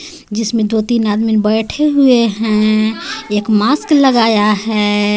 जिसमें दो-तीन आदमी बैठे हुए हैं एक मास्क लगाया हैं.